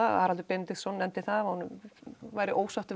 Haraldur Benediktsson nefndi það að hann væri ósáttur